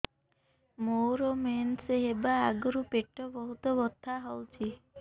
ମୋର ମେନ୍ସେସ ହବା ଆଗରୁ ପେଟ ବହୁତ ବଥା ହଉଚି